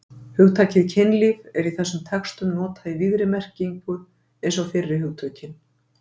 Hugtakið kynlíf er í þessum textum notað í víðri merkinu eins og fyrri hugtökin.